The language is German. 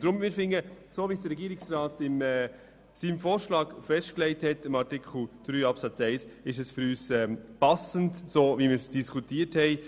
Für uns passt deshalb die Formulierung von Artikel 3, Absatz 1, die der Regierungsrat vorschlägt, gut.